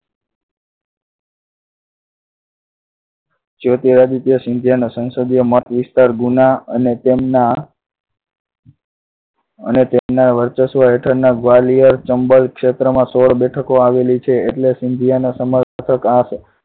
જ્યોતિરાદિત્ય સિંધિયા ના સંસદીય મતવિસ્તાર ગુના અને તેમના અને તેમના વર્ચસ્વ હેઠળના Gwalior, ચંબલ ક્ષેત્રમાં સોળ બેઠકો આવેલી છે એટલે સિંધિયાના સમર્થક આ